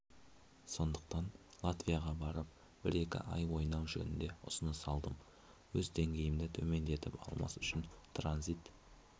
сондықтан латвияға барып бір-екі ай ойнау жөнінде ұсыныс алдым өз деңгейімді төмендетіп алмас үшін транзит